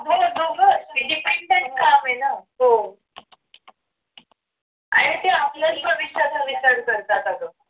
आणि ते आपल्याच प्रवेशाचा विचार करतात अगं